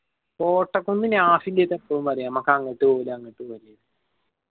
കോട്ടക്കുന്ന് നാഫി എന്റെ എട്ത് എപ്പും പറയും ഞമ്മക്ക് അങ്ങട്ട് പോവലാ അങ്ങട്ട് പോവ്ല്ലാന്ന്